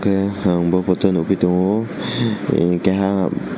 aii hang bo photo nugui tongo keha.